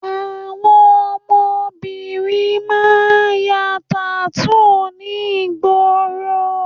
Àwọn ọmọbìnrin máa ń ya tattoo ní ìgboro